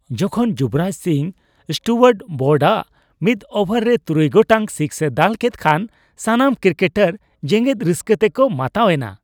ᱡᱚᱠᱷᱚᱱ ᱡᱩᱵᱨᱟᱡᱽ ᱥᱤᱝ ᱥᱴᱩᱣᱟᱨᱴ ᱵᱨᱚᱰᱼᱟᱜ ᱢᱤᱫ ᱳᱵᱷᱟᱨ ᱨᱮ ᱛᱩᱨᱩᱭ ᱜᱚᱴᱟᱝ ᱥᱤᱠᱥᱼᱮ ᱫᱟᱹᱞ ᱠᱮᱫ ᱠᱷᱟᱱ ᱥᱟᱱᱟᱢ ᱠᱤᱠᱮᱴᱟᱨ ᱡᱮᱜᱮᱫ ᱨᱟᱹᱥᱠᱟᱹ ᱛᱮᱠᱚ ᱢᱟᱛᱟᱣ ᱮᱱᱟ ᱾